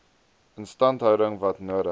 instandhouding wat nodig